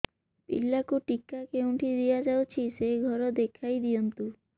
ପିଲାକୁ ଟିକା କେଉଁଠି ଦିଆଯାଉଛି ସେ ଘର ଦେଖାଇ ଦିଅନ୍ତୁ